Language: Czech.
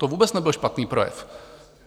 To vůbec nebyl špatný projev.